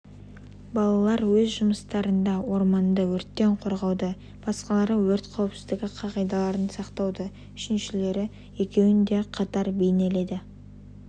балалар өз жұмыстарында орманды өрттен қорғауды басқалары өрт қауіпсіздігі қағидаларын сақтауды үшіншілері екеуінде қатар бейнеледі